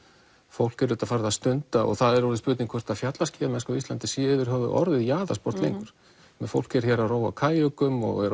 fólk er farið að stunda og það er orðið spurning hvort fjallaskíðamennska á Íslandi sé yfir höfuð orðið jaðarsport lengur fólk er hér að róa á kajökum og er